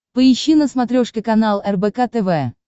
поищи на смотрешке канал рбк тв